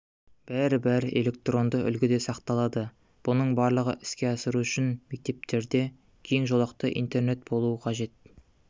бәрі-бәрі электронды үлгіде сақталады бұның барлығын іске асыру үшін мектептерде кең жолақты интернет болуы қажет